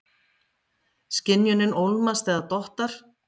Skynjunin ólmast eða dottar.